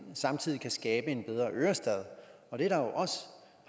samtidig kan skabe en bedre ørestad det